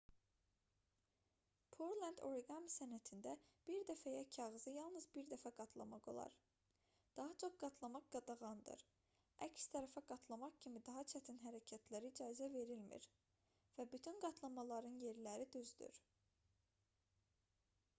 pureland oriqami sənətində bir dəfəyə kağızı yalnız bir dəfə qatlamaq olar daha çox qatlamaq qadağandır əks tərəfə qatlama kimi daha çətin hərəkətlərə icazə verilmir və bütün qatlamaların yerləri düzdür